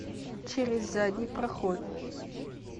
через задний проход